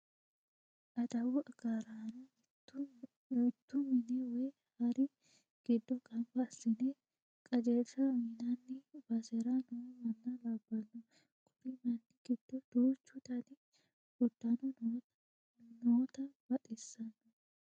Adawu agaraano mittu mine woy hari giddo gamba assine qajeelsha uyinanni basera no manna labbanno. Kuri manni giddo duuchu dani uddano noota buuxissanno.